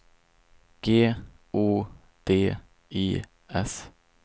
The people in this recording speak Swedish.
G O D I S